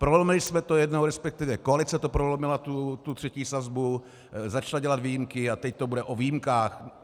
Prolomili jsme to jednou, respektive koalice to prolomila, tu třetí sazbu, začala dělat výjimky a teď to bude o výjimkách.